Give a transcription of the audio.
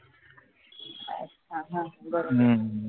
अच्छा हं बरोबर